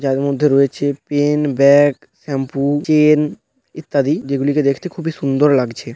যার মধ্যে রয়েছে পেন ব্যাগ শ্যাম্পু চেন ইত্যাদি যে গুলিকে দেখতে খুবই সুন্দর লাগছে।